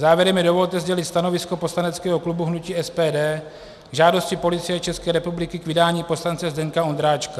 Závěrem mi dovolte sdělit stanovisko poslaneckého klubu hnutí SPD k žádosti Policie České republiky k vydání poslance Zdeňka Ondráčka.